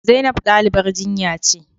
Zainab dalibar jinya ce